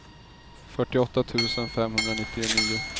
fyrtioåtta tusen femhundranittionio